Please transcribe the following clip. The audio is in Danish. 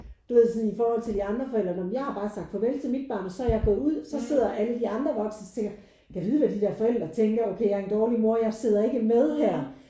Du ved sådan i forhold til de andre forældre når men jeg har bare sagt farvel til mit barn og så er jeg gået ud. Så sidder alle de andre voksne og så tænker jeg gad vide hvad de der forældre tænker okay jeg er en dårlig mor jeg sidder ikke med her